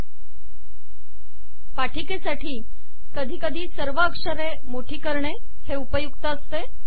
सादरीकरणांसाठी कधी कधी सर्व अक्षरे मोठी करणे उपयुक्त असते